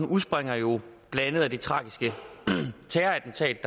udspringer jo blandt andet af det tragiske terrorattentat